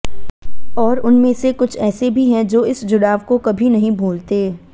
और उनमे से कुछ ऐसे भी हैं जो इस जुड़ाव को कभी नहीं भूलते